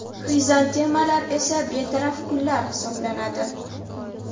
Xrizantemalar esa – betaraf gullar hisoblanadi.